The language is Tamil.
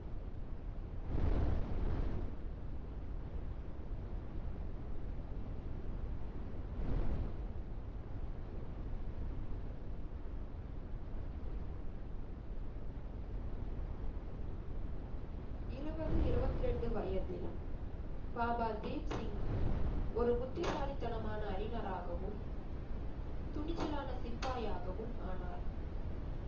இருவது இருவத்தி ரெண்டு வயதில் பாபா தீப்சிங் ஒரு புத்திசாலித்தனமான அறிஞராகவும் துணிச்சலான சிப்பாயாகவும் ஆனார்